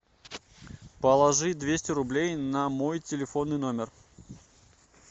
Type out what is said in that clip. положи двести рублей на мой телефонный номер